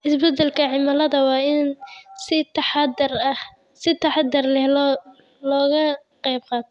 Isbeddelka cimilada waa in si taxadar leh wax looga qabtaa.